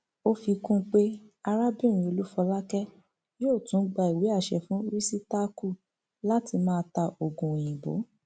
ó fi kún un pé arábìnrin olúfolákè yóò tún gba ìwé àṣẹ fún rìsítákù láti máa ta oògùn òyìnbó